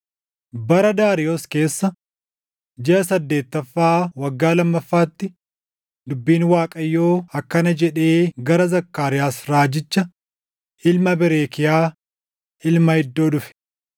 Bara Daariyoos keessa, jiʼa saddeettaffaa waggaa lammaffaatti dubbiin Waaqayyoo akkana jedhee gara Zakkaariyaas raajicha ilma Berekiyaa, ilma Iddoo dhufe: